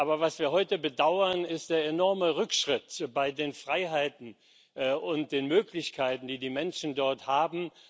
Aber was wir heute bedauern, ist der enorme Rückschritt bei den Freiheiten und den Möglichkeiten, die die Menschen dort haben.